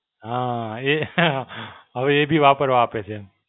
હાં એ, હવે એ બી વાપરવા આપે છે એમ.